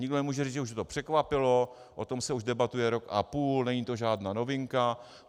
Nikdo nemůže říct, že je to překvapilo, o tom se už debatuje rok a půl, není to žádná novinka.